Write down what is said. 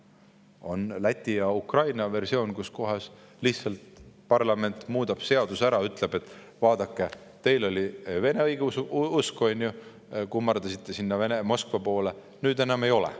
On Läti ja Ukraina versioon: parlament lihtsalt muudab seaduse ära ja ütleb: "Vaadake, teil oli selline vene õigeusk, te kummardasite sinna Moskva poole, nüüd enam ei ole.